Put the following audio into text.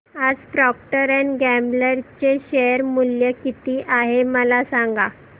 आज Procter and Gamble चे share मूल्य किती आहे मला सांगा